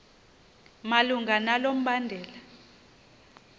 malunga nalo mbandela